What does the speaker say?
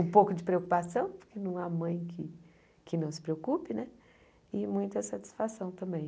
Um pouco de preocupação, porque não há mãe que que não se preocupe né, e muita satisfação também.